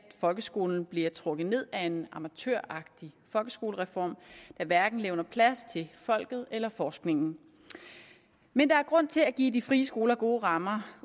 folkeskolen bliver trukket ned af en amatøragtig folkeskolereform der hverken levner plads til folket eller forskningen men der er grund til at give de frie skoler gode rammer